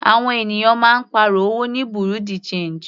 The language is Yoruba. Àwọn ènìyàn máa ń pàrọ̀ owó ní bureau de change.